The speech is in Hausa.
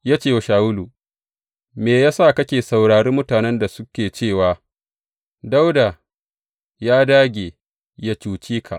Ya ce wa Shawulu, Me ya sa kake saurari mutanen da suke cewa, Dawuda ya dāge yă cuce ka’?